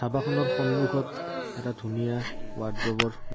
ধাবাখনৰ সন্মুখত এটা ধুনীয়া ৱাৰ্দ্ৰবৰ।